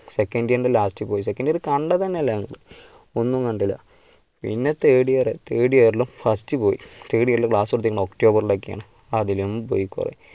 second year last പോയി second year കണ്ടത് തന്നെയില്ല. ഒന്നും കണ്ടില്ല പിന്നെ third yearthird year ലും first പോയി third year ല് class തൊടുത്തത് october ൽ ഒക്കെയാണ് അതിലും പോയി കുറെ